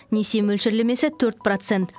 несие мөлшерлемесі төрт процент